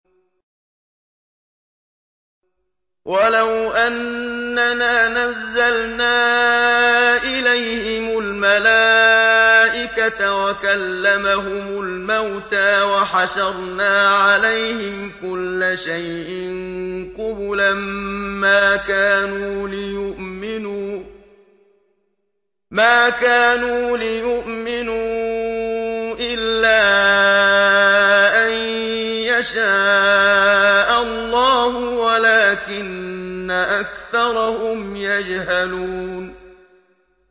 ۞ وَلَوْ أَنَّنَا نَزَّلْنَا إِلَيْهِمُ الْمَلَائِكَةَ وَكَلَّمَهُمُ الْمَوْتَىٰ وَحَشَرْنَا عَلَيْهِمْ كُلَّ شَيْءٍ قُبُلًا مَّا كَانُوا لِيُؤْمِنُوا إِلَّا أَن يَشَاءَ اللَّهُ وَلَٰكِنَّ أَكْثَرَهُمْ يَجْهَلُونَ